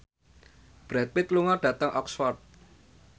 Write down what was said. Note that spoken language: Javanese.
Brad Pitt lunga dhateng Oxford